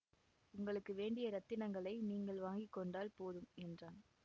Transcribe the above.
உங்களுக்கு வேண்டிய இரத்தினங்களை நீங்கள் வாங்கி கொண்டால் போதும் என்றான்